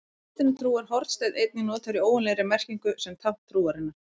Í kristinni trú er hornsteinn einnig notaður í óeiginlegri merkingu sem tákn trúarinnar.